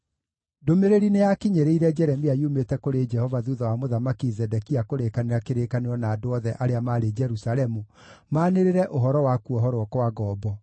Ndũmĩrĩri nĩyakinyĩrĩire Jeremia yumĩte kũrĩ Jehova thuutha wa Mũthamaki Zedekia kũrĩkanĩra kĩrĩkanĩro na andũ othe arĩa maarĩ Jerusalemu maanĩrĩre ũhoro wa kuohorwo kwa ngombo.